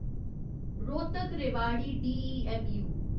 Rohtak Rewari DEMU